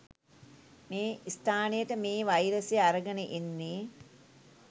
මේ ස්ථානයට මේ වයිරසය අරගෙන එන්නේ.